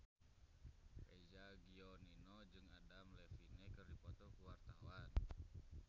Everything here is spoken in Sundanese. Eza Gionino jeung Adam Levine keur dipoto ku wartawan